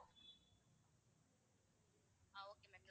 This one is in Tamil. ah okay ma'am